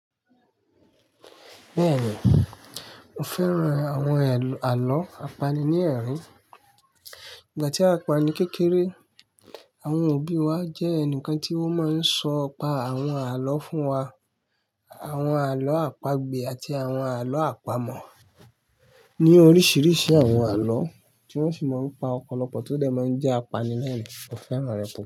Bẹ́ẹ̀ni, mo fẹ́ran àwọn àlọ́ apanilẹ́rìn-ín. Ìgbà tí a wa ni kékeré, àwọn òbí wa jẹ́ ẹnìkan tí wón máa ń sọ nipa àwọn àlọ́ fún wa. Àwọn àlọ́ àpagbè àti àwọn àlọ́ àpamọ̀ ni oríṣiríṣi àwọn àlọ́ tí wọ́n sì máa ń pa ọ̀pọ̀lọpọ̀ tó dẹ̀ máa ń jẹ́ apanilẹ́rìn-ín, mo fẹ́ràn rẹ̀ púpọ̀